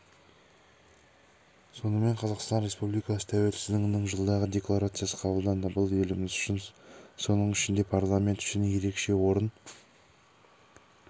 сонымен қазақстан республикасы тәуелсіздігінің жылдығы декларациясы қабылданды бұл еліміз үшін соның ішінде парламент үшін ерекше орын